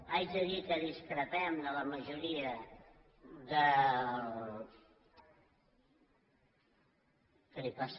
haig de dir que discrepem de la majoria dels